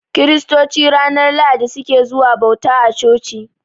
Kiristoci ranar Lahadi su ke zuwa bauta a coci.